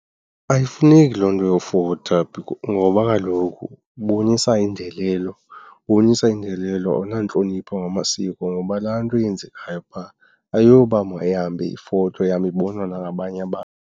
Ayifuneki loo nto yofota ngoba kaloku ibonisa indelelo, ubonisa indelelo, awunantlonipho ngamasiko ngoba laa nto yenzekayo phaa ayiyoba mayihambe ifotwa ihambe ibonwa nangabanye abantu.